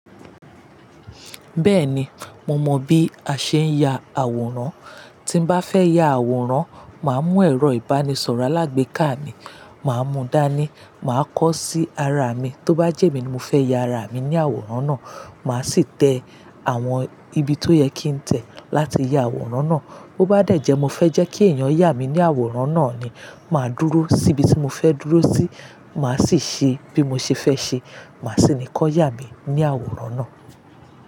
Bẹ́ẹ̀ni, mo mọ bí a ṣe ń ya àwòrán. Tí n bá fẹ́ ya àwòrán, màá mú ẹ̀rọ ìbánisọ̀rọ̀ alágbèéká mi, màá mú dání, màá kọ́ sí ara mi. Tó bá jẹ́ emi ni mo fẹ́ ya ara mi ní àwòrán náà, màá sì tẹ àwọn ibi tó yẹ kí n tẹ̀ láti ya àwòrán náà. Bo bá dejẹ́ mo fẹ́ jẹ́ kí èèyàn yà mi ní àwòrán náà ni, màá dúró sí ibi tí mo fẹ́ dúró sí, màá sì ṣe bí mo ṣe fẹ́ ṣe, màá sì ni kọ́ yà mi ní àwòrán náà.